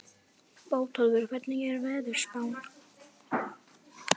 Bótólfur, hvernig er veðurspáin?